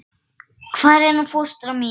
Hvar er hún fóstra mín?